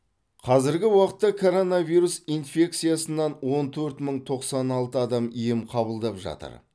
қазіргі уақытта коронавирус инфекциясынан он төрт мың тоқсан алты адам ем қабылдап жатыр